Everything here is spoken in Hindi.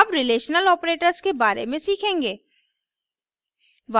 अब रिलेशनल ऑपरेटर्स के बारे में सीखेंगे